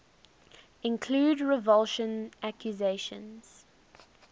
include revulsion accusations